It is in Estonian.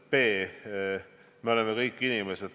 B: me oleme kõik inimesed.